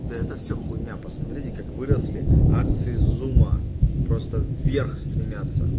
да это все хуйня посмотрите как выросли акции зума просто вверх стремятся